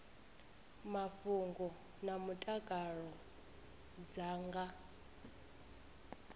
mafhungo na mutakalo dza nga